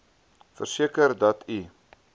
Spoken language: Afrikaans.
verseker dat u